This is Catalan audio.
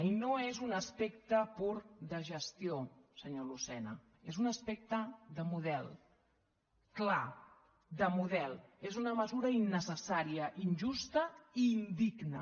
i no és un aspecte pur de gestió senyor lucena és un aspecte de model clar de model és una mesura innecessària injusta i indigna